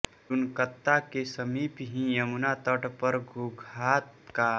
रुनकता के समीप ही यमुना तट पर गोघात का